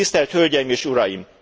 tisztelt hölgyeim és uraim,